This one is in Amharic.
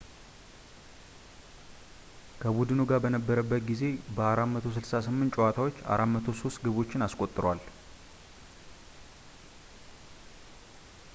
ከቡድኑ ጋር በነበረበት ጊዜ በ 468 ጨዋታዎች 403 ግቦችን አስቆጥሯል